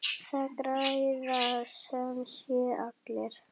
Það græða sem sé allir.